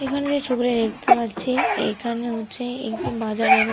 এখানে যে ছবিটা দেখতে পাচ্ছি এইখানে হচ্ছে একটি বাজারের--